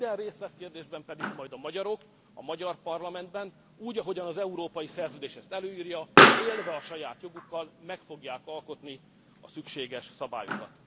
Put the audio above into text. Minden részletkérdésben pedig a magyarok, a magyar parlamentben úgy, ahogy az európai szerződés azt előírja, élve a saját jogukkal, meg fogják alkotni a szükséges szabályokat.